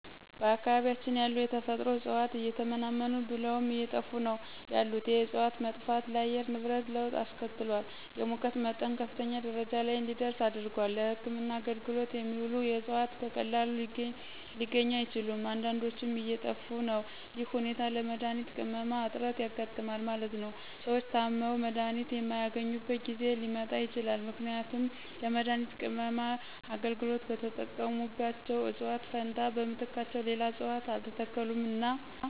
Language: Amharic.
በአካባቢያችን ያሉ የተፈጥሮ እጽዋት እየተመናመኑ ብለውም አየጠፉ ነው ያሉት የእጽዋት መጥፋት ለአየር ንብረት ለወጥ አስከትሏል የሙቀት መጠን ከፍተኛ ደረጃ ለይ እንዲደርስ አድርጓል። ለህክምና አገልግሎት የሚውሉት እጽዋት በቀላሉ ሊገኙ አይችሉም አንዳዶችም እየጠፊ ነው ይህ ሁኔታ ለመድሀኒት ቅመማ እጥረት ያጋጥማል ማለት ነው። ሰዎች ታመው መድሀኒት የማያገኙበት ጊዜ ሊመጣ ይችላል ምክንያቱም ለመድሀኒት ቅመማ አገልግሎት በተጠቀሙባቸው እጽዋት ፈንታ በምትካቸው ሌላ እጽዋት አልተተከሉምና ነው።